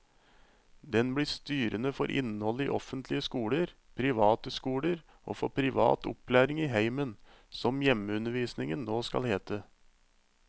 Den blir styrende for innholdet i offentlige skoler, private skoler og for privat opplæring i heimen, som hjemmeundervisningen nå skal hete.